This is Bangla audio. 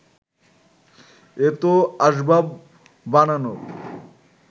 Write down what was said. এত আসবাব বানানোর